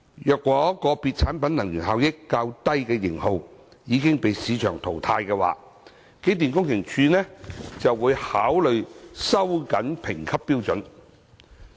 若個別產品能源效益較低的型號已被市場淘汰，機電工程署會考慮收緊評級標準。